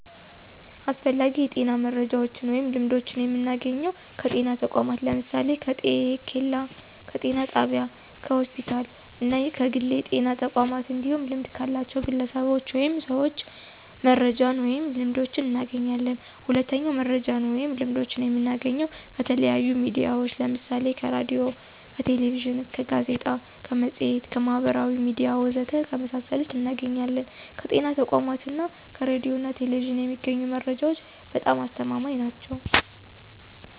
አስፈላጊ የጤና መረጃዎችን ወይም ልምዶችን የምናገኘው ከጤና ተቋማት ለምሳሌ፦ ከጤኬላ፣ ከጤና ጣቢያ፣ ከሆስፒታል እና ከግል የጤና ተቋማት እንዲሁም ልምድ ካላቸው ግለሰቦች ወይም ሰዎች መረጃዎችን ወይንም ልምዶችን እናገኛለን። ሁለተኛው መረጃዎችን ወይም ልምዶችን የምናገኘው ከተለያዩ ሚዲያዎች ለምሳሌ ከሬዲዮ፣ ከቴሌቪዥን፣ ከጋዜጣ፣ ከመፅሔት፣ ከማህበራዊ ሚዲያ ወዘተ ከመሳሰሉት እናገኛለን። ከጤና ተቋማት እና ከሬዲዮ ና ቴሌቪዥን የሚገኙ መረጃዎች በጣም አስተማማኝ ናቸው።